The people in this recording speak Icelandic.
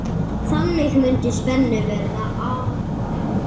Þannig mundi spennu verða aflétt.